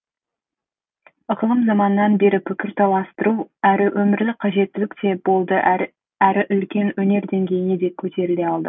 ықылым заманнан бері пікір таластыру әрі өмірлік қажеттілік те болды әрі үлкен өнер деңгейіне де көтеріле алды